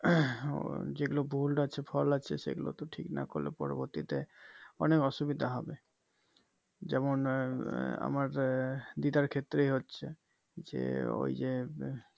আহ ও যে গুলো ভুল আছে fault আছে সেগুলো তো ঠিক না করলে পরবর্তীতে অনেক অসুবিধা হবে যেমন আহ আমার দিদার ক্ষেত্রেই হচ্ছে যে ওই যে